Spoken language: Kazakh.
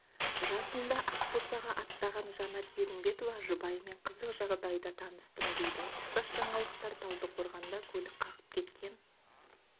жасында ақбосаға аттаған жанат ерімбетова жұбайыммен қызық жағдайда таныстым дейді ұқсас жаңалықтар талдықорғанда көлік қағып кеткен